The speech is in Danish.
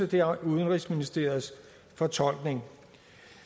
det er udenrigsministeriets fortolkning